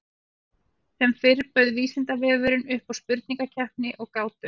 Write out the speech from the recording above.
Sem fyrr bauð Vísindavefurinn upp á spurningakeppni og gátur.